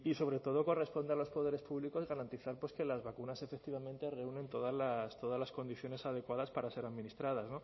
sobre todo responder a los poderes públicos garantizar pues que las vacunas efectivamente reúnen todas las condiciones adecuadas para ser administradas